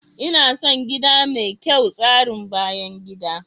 Ina son gida mai kyau tsarin bayan gida.